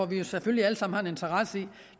vi har selvfølgelig alle sammen en interesse